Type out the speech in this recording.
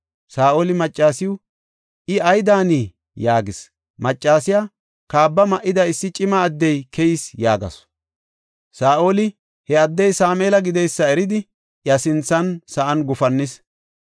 Saa7oli maccasiw, “I ay daanii?” yaagis. Maccasiya, “Kaabba ma7ida issi cima addey keyis” yaagasu. Saa7oli he addey Sameela gideysa eridi, iya sinthan sa7an gufannis.